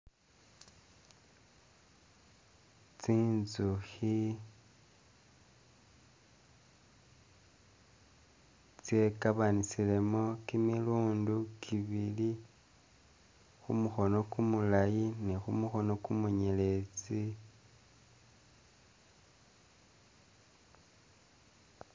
Tsinzukhi tsye'kabanisilemo kimilundi kibili khumukhono kumulayi ni khumukhono kumunyeletsi